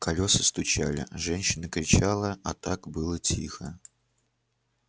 колеса стучали женщина кричала а так было тихо